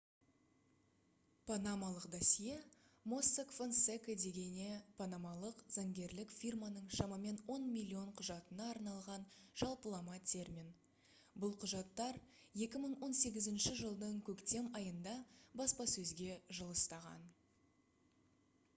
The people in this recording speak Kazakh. «панамалық досье» mossack fonseca дегене панамалық заңгерлік фирманың шамамен он миллион құжатына арналған жалпылама термин. бұл құжаттар 2018 жылдың көктем айында баспасөзге жылыстаған